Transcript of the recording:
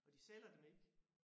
Og de sælger dem ikke